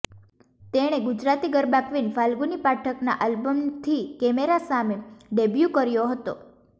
તેણે ગુજરાતી ગરબા ક્વીન ફાલ્ગુની પાઠકના આલ્બમથી કેમેરા સામે ડેબ્યુ કર્યો હતો